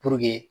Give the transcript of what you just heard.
Puruke